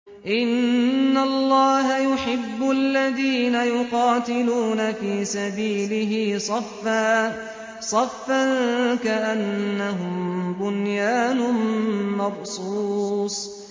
إِنَّ اللَّهَ يُحِبُّ الَّذِينَ يُقَاتِلُونَ فِي سَبِيلِهِ صَفًّا كَأَنَّهُم بُنْيَانٌ مَّرْصُوصٌ